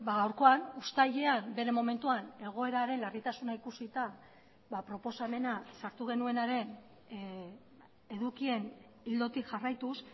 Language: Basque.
gaurkoan uztailean bere momentuan egoeraren larritasuna ikusita proposamena sartu genuenaren edukien ildotik jarraituz